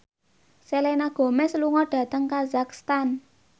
Selena Gomez lunga dhateng kazakhstan